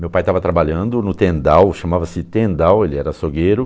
Meu pai estava trabalhando no Tendal, chamava-se Tendal, ele era açougueiro.